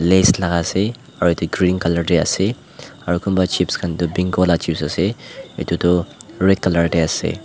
lays laga ase aru etu green colour te ase aru kunba cheap khan pink vala cheap ase etu tu red colour te ase.